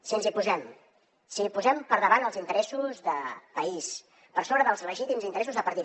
si ens hi posem si posem per davant els interessos de país per sobre dels legítims interessos de partit